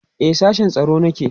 e a sashen tsaro nake